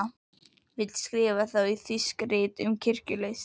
Vill skrifa um þá í þýsk rit um kirkjulist.